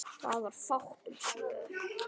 Það var fátt um svör.